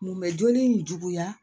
Mun bɛ joli in juguya